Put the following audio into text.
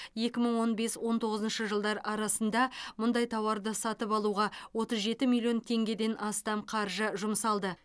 екі мың он бес он тоғызыншы жылдар арасында мұндай тауарды сатып алуға отыз жеті миллион теңгеден астам қаржы жұмсалды